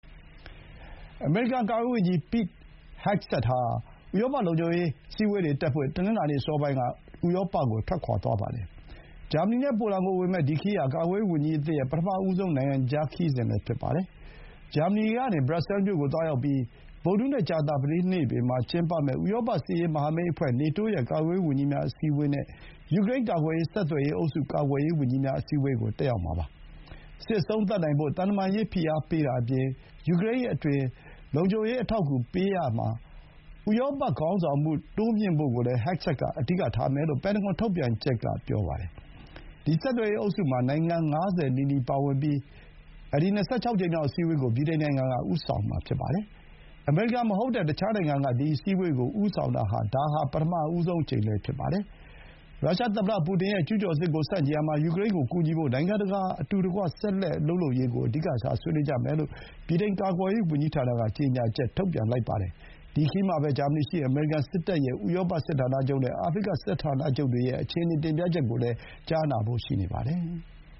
အမေရိကန် ကာကွယ်ရေးဝန်ကြီး Pete Hegseth ဟာ တနင်္လာနေ့ အစောပိုင်းက ဥရောပကို ထွက်ခွါသွားပါတယ်။ ဂျာမနီနဲ့ ပိုလန်ကိုဝင်မယ့် ဒီခရီးဟာ ကာကွယ်ရေးဝန်ကြီးအသစ်ရဲ့ ပထမဆုံး နိုင်ငံခြားခရီးစဥ်လည်း ဖြစ်ပါတယ်။ ဂျာမနီကနေ ဘရပ်ဆဲလ်မြို့ကို သွားရောက်ပြီး ဗုဒ္ဓဟူးနဲ့ ကြာသပတေးနေ့တွေမှာ ကျင်းပမယ့် ဥရောပ စစ်ရေးမဟာမိတ်အဖွဲ့ (NATO) ရဲ့ ကာကွယ်ရေးဝန်ကြီးများ အစည်းအဝေးနဲ့ ယူကရိန်းကာကွယ်ရေး ဆက်သွယ်ရေးအုပ်စု ကာကွယ်ရေးဝန်ကြီးများ အစည်းအဝေးကို တက်ရောက်မှာပါ။ စစ်အဆုံးသတ်နိုင်ဖို့ သံတမန်ရေး ဖိအားပေးတာအပြင် ယူကရိန်းအတွက် လုံခြုံရေး အထောက်အကူပေးရာမှာ ဥရောပခေါင်းဆောင်မှု တိုးမြှင့်ဖို့ကိုလည်း ဟဂ်ဆက်က အဓိကထားမယ်လို့ ပန်တဂွန်ထုတ်ပြန်ချက်က ဆိုပါတယ်။ ဒီ ဆက်သွယ်ရေးအုပ်စုမှာ နိုင်ငံ ၅၀ နီးပါးပါဝင်ပြီး အခု ၂၆ ကြိမ်မြောက် အစည်းအဝေးကို ဗြိတိန်နိုင်ငံက ဦးဆောင်မှာပါ။ အမေရိကန်မဟုတ်တဲ့ တခြားနိုင်ငံက ဒီ အစည်းအဝေးကို ဦးဆောင်တာဟာ ဒါ ပထမဆုံးအကြိမ်လည်း ဖြစ်ပါတယ်။ ရုရှားသမ္မတ ပူတင်ရဲ့ ကျူးကျော်စစ်ကို ဆန့်ကျင်ရာမှာ ယူကရိန်းကို ကူညီဖို့ နိုင်ငံတကာ အတူတကွ ဆက်လက် အလုပ်လုပ်ရေးကို အဓိကထား ဆွေးနွေးကြမယ်လို့ ဗြိတိန် ကာကွယ်ရေး ဝန်ကြီးဌာနက ကြေညာချက် ထုတ်ပြန်ပါတယ်။ ဒီခရီးမှာပဲ ဂျာမနီက အမေရိကန်စစ်တပ်ရဲ့ ဥရောပ စစ်ဌာနချုပ်နဲ့ အာဖရိက စစ်ဌာနချုပ်တွေရဲ့ အခြေအနေ တင်ပြချက်ကိုလည်းကိုလည်း ကြားနာဖို့ ရှိပါတယ်။